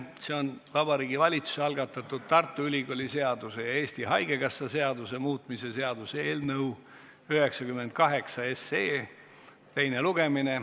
See on Vabariigi Valitsuse algatatud Tartu Ülikooli seaduse ja Eesti Haigekassa seaduse muutmise seaduse eelnõu 98 teine lugemine.